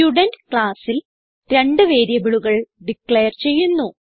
student ക്ലാസ്സിൽ രണ്ട് വേരിയബിളുകൾ ഡിക്ലയർ ചെയ്യുന്നു